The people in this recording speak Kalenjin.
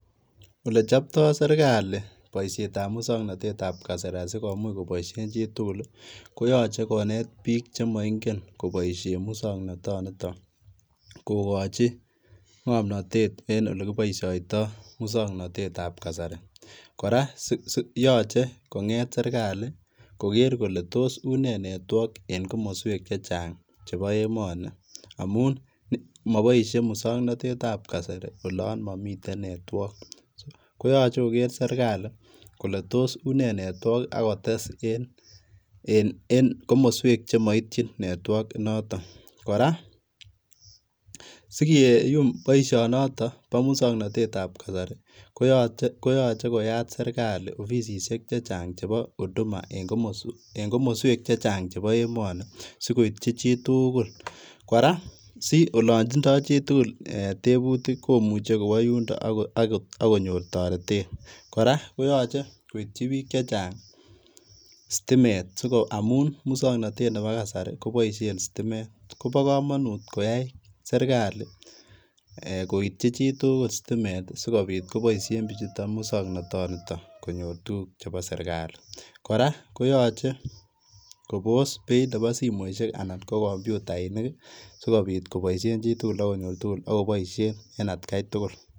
Olechopto serikali boishetab muswoknotetab kasari asikomuch koboishen chitukul, koyoche konet biik chemoing'en koboishen muswoknotoniton kokochi ng'omnotet en olekiboishoito muswoknotetab kasari, kora yoche kong'et serikali koker kole toos unee network en komoswek chechang cheboo emoni amun moboishee muswoknotetab kasari olon momiten network, koyoche koker serikali Kole toos unee network akotes en komoswek chemoityin network inoton, kora sikiyum boishonoto boo muswoknotetab kasari koyoche koyat serikali ofisishek chechang cheboo huduma en komoswek chechang cheboo emoni sikoityi chitukul, kora siolontindo chitukul eeh tebutik komuche kwoo yundon akonyor toretet, kora koyoche koityi biik chechang sitimet amun muswoknotet neboo kasari koboishen sitimet, kobokomonut koyai serikali koityi chitukul sitimet sikobit koboishen bichuton muswoknotoniton konyor tukuk chebo serikali, kora koyoche kobos beeit neboo simoishek anan ko kompyutainik sikobit koboishen chitukul akonyor tukul akoboishen en atkai tukul.